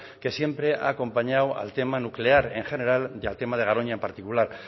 que siempre ha acompañado al tema nuclear en general y al tema de garoña en particular